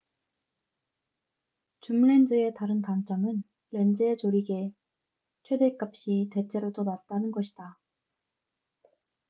줌렌즈의 다른 단점은 렌즈의 조리개속도 최댓값이 대체로 더 낮다는 것이다